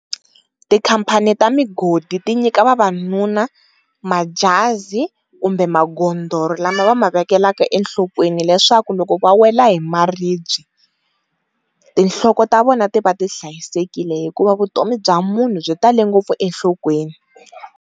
Tikhampani ta migodi ti nyika vavanuna majazi kumbe magondolo lama va ma vekelaka enhlokweni leswaku loko va wela hi maribye tinhloko ta vona ti va ti hlayisekile hikuva vutomi bya munhu byi tale ngopfu enhlokweni.